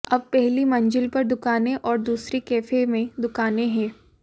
अब पहली मंजिल पर दुकानें और दूसरी कैफे में दुकानें हैं